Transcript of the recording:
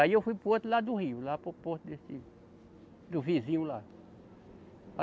Aí eu fui para o outro lado do rio, lá para o porto desse, do vizinho lá.